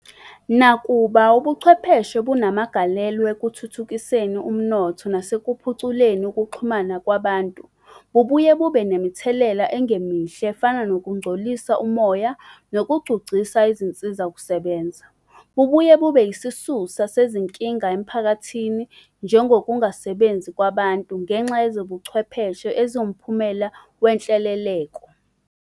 Nakuba Ubuchwepheshe bunamagalelo ekuthuthukiseni umnotho nasekuphuculeni ukuxhuma kwabantu, bubuye bube nemithelela engemihle efana nokungcolisa umoya nokugcugcisa izinsizakusebenza, noma bungaba isisusa sezinkinga emphakathini njengokungasebenzi kwabantu ngenxa yezobuchwepheshe eziwphumela wenhleleleko.